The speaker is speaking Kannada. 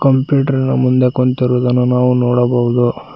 ಕಂಪ್ಯೂಟರಿನ ಮುಂದೆ ಕುಂತಿರುವುದನ್ನು ನಾವು ನೋಡಬಹುದು.